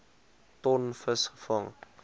ton vis gevang